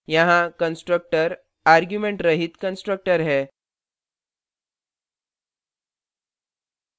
यहाँ constructor argument रहित constructor है